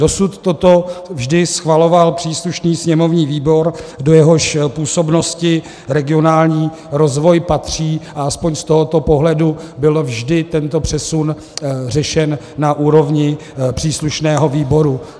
Dosud toto vždy schvaloval příslušný sněmovní výbor, do jehož působnosti regionální rozvoj patří, a aspoň z tohoto pohledu byl vždy tento přesun řešen na úrovni příslušného výboru.